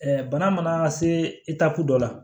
bana mana se dɔ la